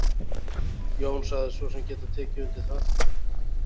Jón sagðist svo sem geta tekið undir það.